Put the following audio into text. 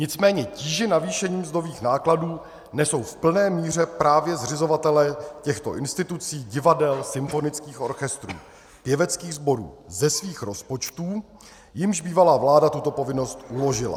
Nicméně tíži navýšení mzdových nákladů nesou v plné míře právě zřizovatelé těchto institucí, divadel, symfonických orchestrů, pěveckých sborů ze svých rozpočtů, jimž bývalá vláda tuto povinnost uložila.